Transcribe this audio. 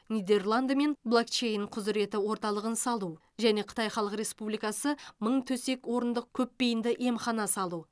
нидерландымен блокчейн құзыреті орталығын салу және қытай халық республикасы мың төсек орындық көпбейінді емхана салу